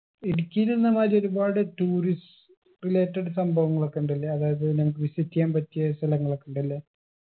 ഇടുക്കീലെന്നകാര്യം ഒരുപാട് tourist related സംഭവങ്ങളൊക്കെ ഇണ്ടല്ലേ അതായത് നമ്മക്ക് visit എയ്യാൻ പറ്റിയ സ്ഥലങ്ങളൊക്കെ ഉണ്ടല്ലേ